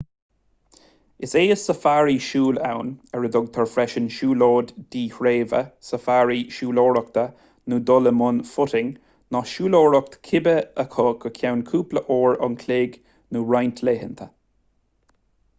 is é is safari siúil ann ar a dtugtar freisin siúlóid dhíthreibhe safari siúlóireachta nó dul i mbun footing ná siúlóireacht cibé acu go ceann cúpla uair an chloig nó roinnt laethanta